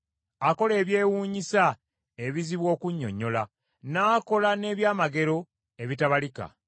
Akola ebyewuunyo ebizibu okunnyonnyola, n’akola n’ebyamagero ebitabalika.